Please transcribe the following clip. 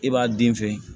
I b'a den fɛn